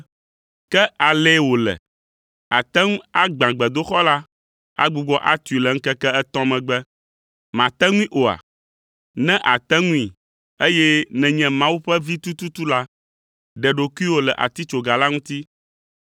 “Ke alee wòle! Àte ŋu agbã gbedoxɔ la, agbugbɔ atui le ŋkeke etɔ̃ megbe. Màte ŋui oa? Ne àte ŋui, eye nènye Mawu ƒe Vi tututu la, ɖe ɖokuiwò le atitsoga la ŋuti!”